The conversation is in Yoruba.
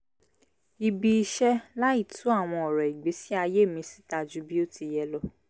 ibi-iṣẹ́ láì tú àwọn ọ̀rọ̀ ìgbésí-ayé mi síta ju bí o ti yẹ lọ